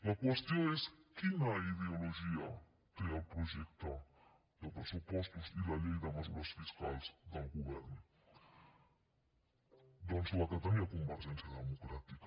la qüestió és quina ideologia tenen el projecte de pressupostos i la llei de mesures fiscals del govern doncs la que tenia convergència democràtica